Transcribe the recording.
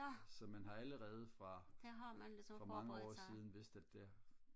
så man har allerede fra for mange år siden vidst at det